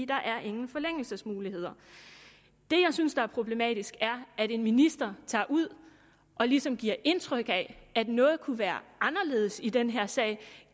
der er ingen forlængelsesmuligheder det jeg synes er problematisk er at en minister tager ud og ligesom giver indtryk af at noget kunne være anderledes i den her sag